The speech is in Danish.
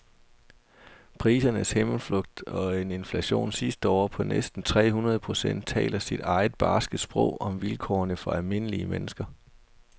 Prisernes himmelflugt og en inflation sidste år på næsten tre hundrede procent taler sit eget barske sprog om vilkårene for almindelige mennesker.